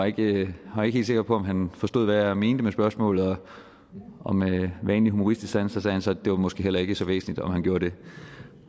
ikke var helt sikker på at han forstod hvad jeg mente med spørgsmålet og med vanlig humoristisk sans sagde han så at det måske heller ikke var så væsentligt om han gjorde det